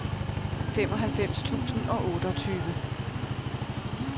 femoghalvfems tusind og otteogtyve